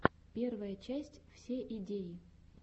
первая часть все идеи